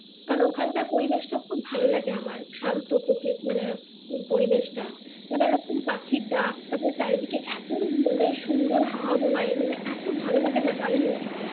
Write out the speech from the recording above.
কারণ ওখানকার পরিবেশ টা খুব ভালো লাগে আমার শান্ত পরিবেশ টা নানা রকম পাখির ডাক তারপরে চারিদিকে এতো মানে সুন্দর হাওয়া বয় মানে এতো ভালো লাগে না দারুন লাগে